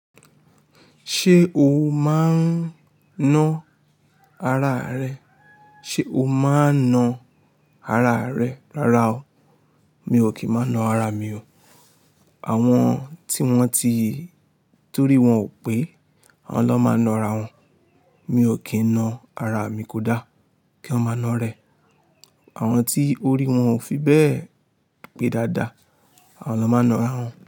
Ṣé o máa ń ná ara rẹ? Ṣé o máa ń ná ara rẹ rara o? Mi ò kí ń máa náa ara mi o. Àwọn tí wọ́n ti torí wọ́n ò pé, àwọn lọ́ máa ná ara wọn. Mi ò kí ń ná ara mi kódà, kí eeyan máa ná rẹ. Àwọn tí orí wọn ò fi bẹ́ẹ̀ pé dáadáa, àwọn lọ́ máa ná ara wọn.